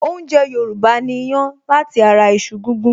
Oúnjẹ Yorùbá ni ìyàn lati ara iṣu gígún